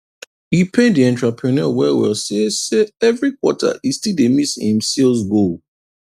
e pain the entrepreneur well well say say every quarter e still dey miss him sales goal